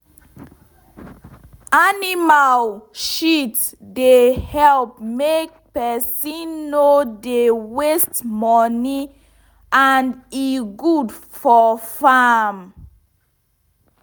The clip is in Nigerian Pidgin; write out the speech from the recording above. animal shit dey help make pesin no dey waste money and e good for farm.